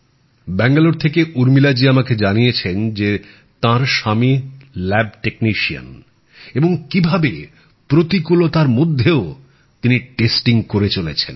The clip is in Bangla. ব্যাঙ্গালোর থেকে উর্মিলাজি আমাকে জানিয়েছেন তাঁর স্বামী ল্যাব টেকনিশিয়ান এবং কিভাবে প্রতিকূলতার মধ্যেও তিনি নমুনা পরীক্ষার কাজ করে চলেছেন